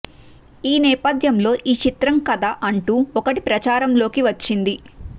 ఈ నేపధ్యంలో ఈ చిత్రం కథ అంటూ ఒకటి ప్రచారంలోకి వచ్చింది